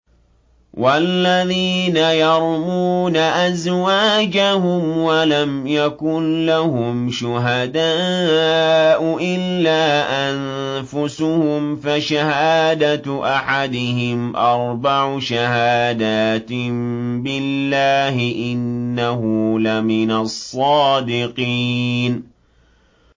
وَالَّذِينَ يَرْمُونَ أَزْوَاجَهُمْ وَلَمْ يَكُن لَّهُمْ شُهَدَاءُ إِلَّا أَنفُسُهُمْ فَشَهَادَةُ أَحَدِهِمْ أَرْبَعُ شَهَادَاتٍ بِاللَّهِ ۙ إِنَّهُ لَمِنَ الصَّادِقِينَ